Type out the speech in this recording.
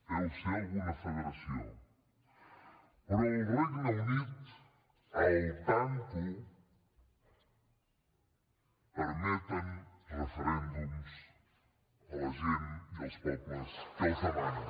deu ser a alguna federació però al regne unit al tanto permeten referèndums a la gent i als pobles que els demanen